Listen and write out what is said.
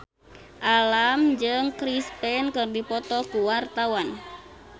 Alam jeung Chris Pane keur dipoto ku wartawan